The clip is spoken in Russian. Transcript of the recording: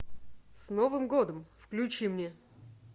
с новым годом включи мне